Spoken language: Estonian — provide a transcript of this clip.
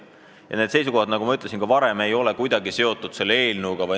Ja need seisukohad, nagu ma juba ütlesin, ei ole kuidagi seotud selle eelnõuga.